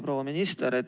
Proua minister!